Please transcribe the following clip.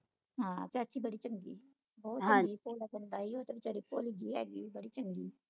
ਹਾਂ ਚਾਚੀ ਬੜੀ ਚੰਗੀ ਹੀ ਚੰਗਾ ਹੀ ਉਹ ਵਿਚਾਰੀ ਭੋਲੀ ਜੀ ਹੈਗੀ ਬੜੀ ਚੰਗੀ ਹੀ